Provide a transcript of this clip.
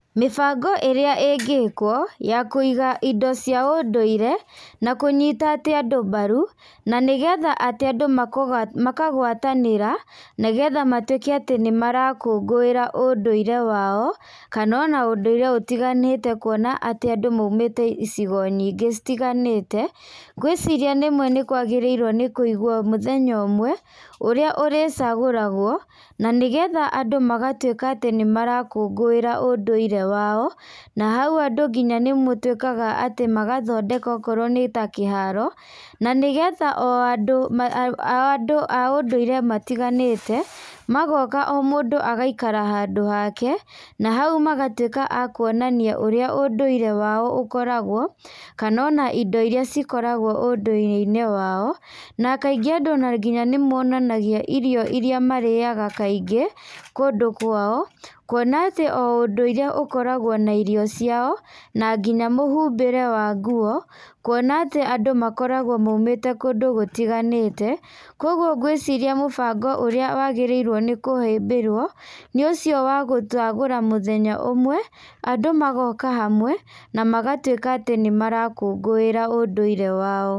Mĩbango ĩrĩ ĩngĩkwo, ya kũiga indo cia ũndũire, na kũnyita atĩ andũ mbaru, na nĩgetha atĩ andũ makũ makagwatanĩra, nĩgetha matwĩke a tĩ nĩmarakũngũĩra, ũndũire wao, kanona ũndũire ũtiganĩte kuona atĩ andũ maumĩte icigo nyingĩ citiganĩte, ngwĩciria rĩmwe nĩkwagĩrĩirwo nĩkũigwo mũthenya ũmwe, ũrĩa ũrĩcagũragwo, nanĩgetha andũ matwĩka atĩ nimarakũngũĩra ũndũire wao, na hau andũ nginya nĩmũtwĩkaga atĩ mũgathondeka okorwo nĩta kĩharo, na nĩgetha andũ o andũ a ũndũire matiganĩte, magoka o mũndũ agaikara handũ hake, na hau magatwĩka a kuonania ũrĩa ũndũire wao ũkoragwo, kanona indo iria cikoragwo ũndũire-inĩ wao, na kaingĩ andũ ona nĩmonanagia irio iria marĩaga kaingĩ, kũndũ kwao, kuona atĩ o ũndũire nĩũkoragwo na irio ciao, na nginya mwĩhumbĩre wa nguo, kuona atĩ andũ makoragwo maumĩte kũndũ gũtiganĩte, koguo ngwĩciria mũbango ũrĩa wagĩrĩirwo nĩ kũhĩbĩrwo, nĩ ũcio wa gũcagũra mũthenya ũmwe, andũ magoka hamwe, na magatwĩka atĩ nĩmarakũngũĩra ũndũire wao.